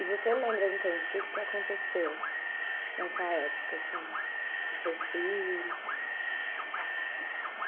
E você lembra, então, de tudo que aconteceu nessa época, assim, com seus filhos?